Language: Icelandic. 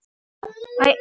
Farðu vel, María mín.